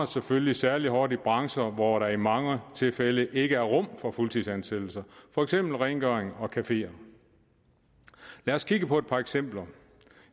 selvfølgelig særlig hård i brancher hvor der i mange tilfælde ikke er rum for fuldtidsansættelser for eksempel rengøring og på cafeer lad os kigge på et par eksempler